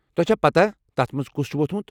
تۄہہِ چھا پتاہ تتھ منز كُس چھُ وۄتھمُت ؟